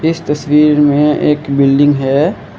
इस तस्वीर में एक बिल्डिंग है।